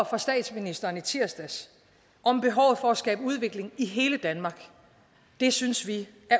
fra statsministeren i tirsdags om behovet for at skabe udvikling i hele danmark det synes